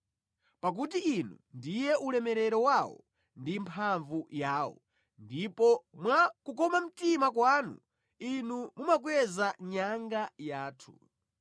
Pakuti Inu ndiye ulemerero wawo ndi mphamvu yawo ndipo mwa kukoma mtima kwanu Inu mumakweza nyanga yathu.